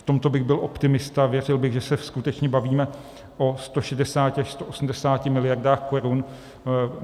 V tomto bych byl optimista, věřil bych, že se skutečně bavíme o 160 až 180 miliardách korun.